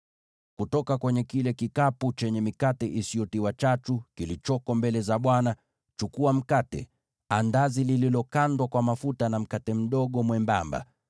Kutoka kwenye kile kikapu chenye mikate iliyotengenezwa bila chachu, kilichoko mbele za Bwana , chukua mkate, andazi lililokandwa kwa mafuta na mkate mdogo mwembamba.